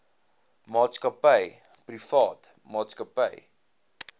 maatskappy privaat maatskappy